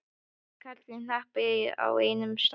Karlar í hnapp á einum stað.